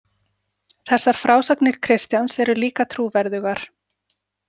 Þessar frásagnir Kristjáns eru líka trúverðugar.